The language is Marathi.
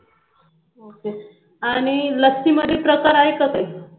आणि लस्सी मध्ये पत्रकार आहे का काही